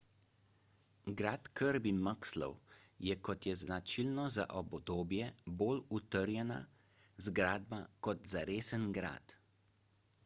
grad kirby muxloe je kot je značilno za obdobje bolj utrjena zgradba kot zaresen grad